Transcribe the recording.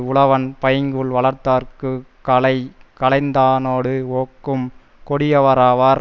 உழவன் பைங்கூழ் வளர்தற்குக் களை களைந்ததனோடு ஒக்கும் கொடியாராவார்